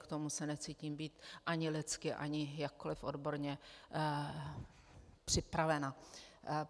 K tomu se necítím být ani lidsky ani jakkoliv odborně připravena.